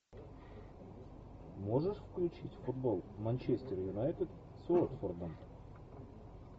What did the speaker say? можешь включить футбол манчестер юнайтед с уотфордом